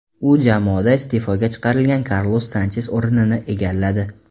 U jamoada iste’foga chiqarilgan Karlos Sanches o‘rinini egalladi.